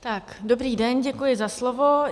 Dobrý den, děkuji za slovo.